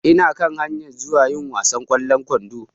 Ina kan hayan zuwa yi wasan kwallon ƙwandon